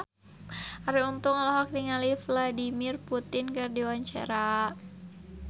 Arie Untung olohok ningali Vladimir Putin keur diwawancara